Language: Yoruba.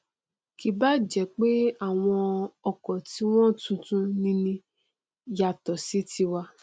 kì báà jẹ pé àwọn ọkọ tiwọn tuntun nini yàtọ sí tiwa